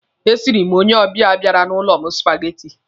E siiri m onye ọbịa bịara n'ụlọ m supageti.